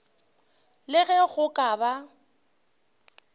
le ge go ka ba